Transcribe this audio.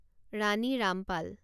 Rani Rampal